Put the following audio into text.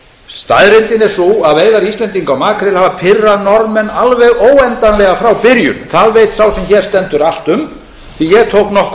staðreyndin er sú að veiðar íslendinga á makríl hafa pirrað norðmenn alveg óendanlega frá byrjun það veit sá sem hér stendur allt um því ég tók nokkur